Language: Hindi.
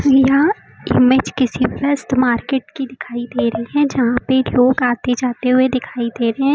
इहा इमेज किसी व्यस्त मार्केट की दिखाई दे रही है जहां पे लोग आते जाते हुए दिखाई दे रहे हैं।